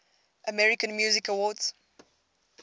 american music awards